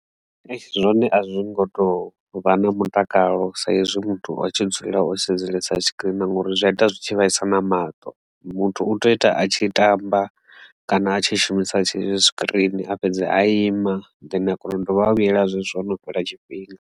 Zwone a zwi ngo to vha na mutakalo sa izwi muthu o tshi dzulela o sedzesa tshikirini ngori zwi a ita zwi tshi vhaisa na mato muthu u tea u ita a tshi tamba kana a tshi shumisa tshikirini a fhedze a ima then a kona u dovha a vhuyela zwezwo hono fhela tshifhinga.